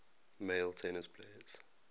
male tennis players